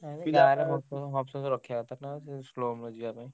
Humps ଫମ୍ପସ ରଖିଆ କଥା ନା ଟିକେ slow ଯିବାପାଇଁ।